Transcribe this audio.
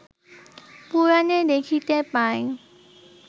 পুরাণে দেখিতে পাই